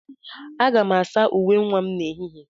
Aga m asa uwe nwa m n'ehihie.